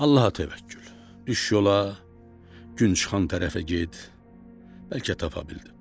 Allaha təvəkkül, düş yola, gün çıxan tərəfə get, bəlkə tapa bildin.